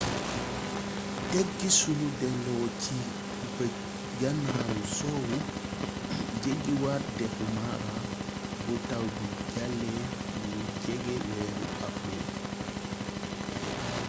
tek ci sunu delloo ci bëj-ganaaru soowu jeggiwaat dexu mara bu taw bi jàllee lu jege weeru awril